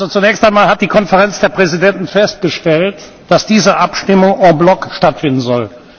Zunächst einmal hat die Konferenz der Präsidenten festgestellt, dass diese Abstimmung en bloc stattfinden soll.